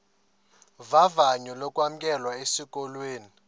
vavanyo lokwamkelwa esikolweni